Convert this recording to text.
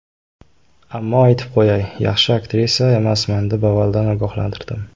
Ammo aytib qo‘yay, yaxshi aktrisa emasman deb avvaldan ogohlantirdim.